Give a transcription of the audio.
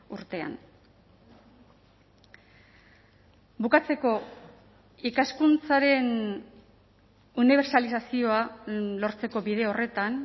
urtean bukatzeko ikaskuntzaren unibertsalizazioa lortzeko bide horretan